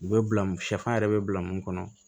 U bɛ bila musafan yɛrɛ bɛ bila mun kɔnɔ